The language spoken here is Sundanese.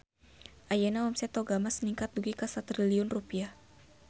Ayeuna omset Toga Mas ningkat dugi ka 1 triliun rupiah